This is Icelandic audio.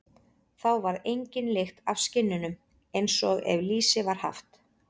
Þá varð engin lykt af skinnunum, eins og ef lýsi var haft.